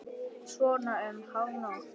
Svona um hánótt.